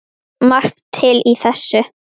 Margt til í þessu.